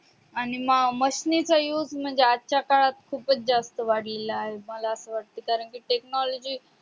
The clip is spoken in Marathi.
आणि मा machine चा used आजच्या काळात खूपच जास्त वाढलेला आहे मला असं वाटतय कारण कि technology